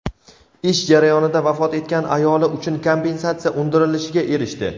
ish jarayonida vafot etgan ayoli uchun kompensatsiya undirilishiga erishdi.